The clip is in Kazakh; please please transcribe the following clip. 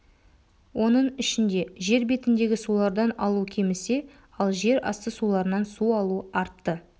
оның ішінде жер бетіндегі сулардан алу кемісе ал жер асты суларынан су алу артты